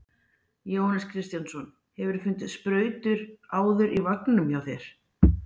Jóhannes Kristjánsson: Hefurðu fundið sprautur áður í vagninum hjá þér?